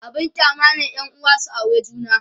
abun kyama ne yanuwa su aure juna